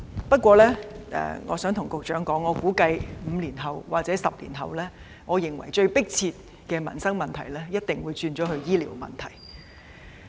不過，我想告訴局長，我估計5年或10年後，最迫切要處理的民生問題一定會變成是醫療問題。